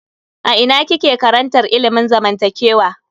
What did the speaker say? A ina kike karantar ilimin zamantakewa?